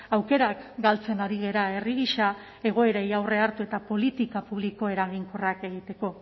aukerak galtzen ari gara herri gisa egoerei aurre hartu eta politika publiko eraginkorrak egiteko